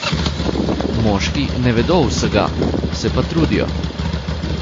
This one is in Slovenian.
Moški ne vedo vsega, se pa trudijo.